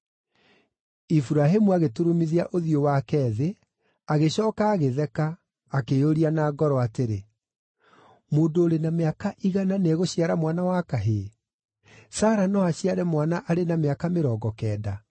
Iburahĩmu agĩturumithia ũthiũ wake thĩ, agĩcooka agĩtheka, akĩĩyũria na ngoro atĩrĩ, “Mũndũ ũrĩ na mĩaka igana nĩegũciara mwana wa kahĩĩ? Sara no aciare mwana arĩ na mĩaka mĩrongo kenda?”